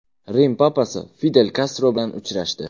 Rim papasi Fidel Kastro bilan uchrashdi.